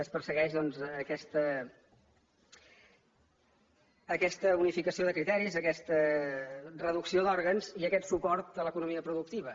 es persegueix aquesta unificació de criteris aquesta reducció d’òrgans i aquest suport a l’economia productiva